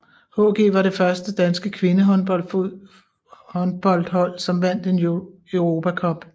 HG var det første danske kvindehåndboldhold som vandt en Europacup